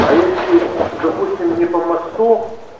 а если допустим не по мосту